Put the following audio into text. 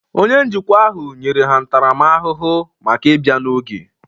Onye njikwa ahụ nyere ha ntaramahụhụ maka ịbịa n'oge